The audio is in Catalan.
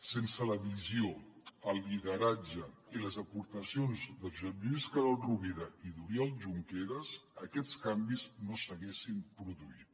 sense la visió el lideratge i les aportacions de josep lluís carod rovira i d’oriol junqueras aquests canvis no s’haguessin produït